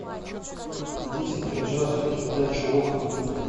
найдите пожалуйста передачу окна